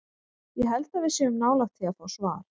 Ég held að við séum nálægt því að fá svar.